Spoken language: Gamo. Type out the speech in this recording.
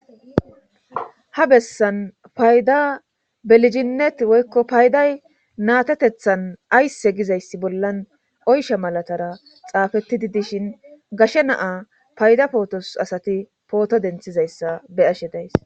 ha bessan payda beliginnet woykko payday natetethan aysse gizayssi bollan oysha malatara xaafettidi dishin gashe naa payda pootos asati pooto denthizayssa be ashe days